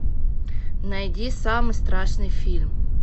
найди самый страшный фильм